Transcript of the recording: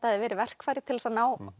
hefði verið verkfæri til þess